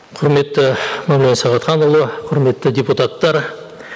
құрметті мәулен сағатханұлы құрметті депутаттар